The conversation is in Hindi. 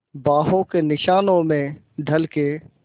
बाहों के निशानों में ढल के